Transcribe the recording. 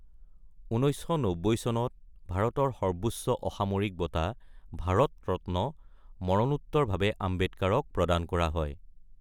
১৯৯০ চনত ভাৰতৰ সৰ্বোচ্চ অসামৰিক বঁটা ভাৰত ৰত্ন মৰণোত্তৰভাৱে আম্বেদকাৰক প্ৰদান কৰা হয়।